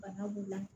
Bana b'u la